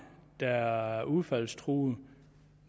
der er udfaldstruede